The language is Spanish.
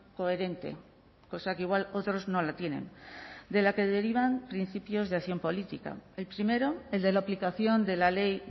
coherente cosa que igual otros no la tienen de la que derivan principios de acción política el primero el de la aplicación de la ley